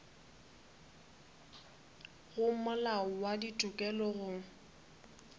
go molao wa ditokelo go